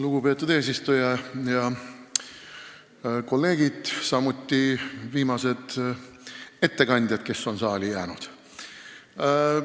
Lugupeetud eesistuja ja kolleegid, samuti viimased ettekandjad, kes on saali jäänud!